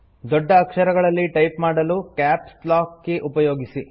ದೊಡ್ಡ ಅಕ್ಷರಗಳಲ್ಲಿ ಟೈಪ್ ಮಾಡಲು ಕ್ಯಾಪ್ಸ್ ಲಾಕ್ ಕೀ ಉಪಯೋಗಿಸಿ